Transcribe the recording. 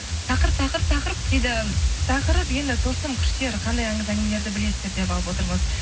тақырып тақырып тақырып дейді тақырып енді тылсым күштер қандай аңыз әңгімелерді білесіздер деп алып отырмыз